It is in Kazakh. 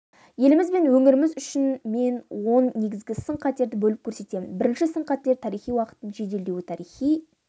еліміз бен өңіріміз үшін мен он негізгі сын-қатерді бөліп көрсетемін бірінші сын-қатер тарихи уақыттың жеделдеуі тарихи